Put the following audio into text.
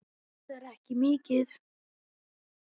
Kostar ekki mikið.